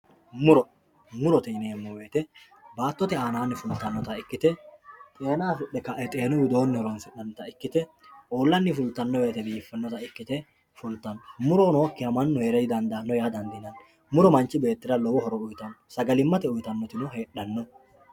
Wuro murote yinani woyite baatote gidoni xeena afidhe fultanota ikite uulani fultano woyite biifanota ikite leeltano